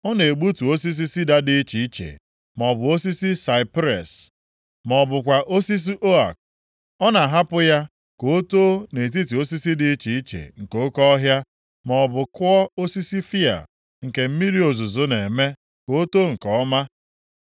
Ọ na-egbutu osisi sida dị iche iche, maọbụ osisi saipres ma ọ bụkwa osisi ook. Ọ na-ahapụ ya ka o too nʼetiti osisi dị iche iche nke oke ọhịa, maọbụ kụọ osisi fịa, nke mmiri ozuzo na-eme ka o too nke ọma.